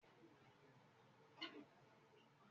Bidemi yóò sọ ọrọ yíì nigbamii.